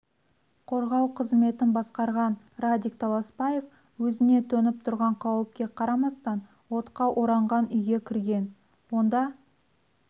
қорғау қызметін басқарған радик таласбаев өзіне төніп тұрған қауіпке қарамастан отқа оранған үйге кірген онда